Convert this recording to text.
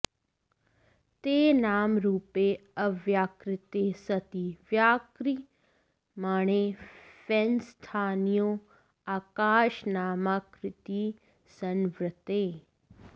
ते नामरूपे अव्याकृते सती व्याक्रियमाणे फेनस्थानीये आकाशनामाकृती संवृत्ते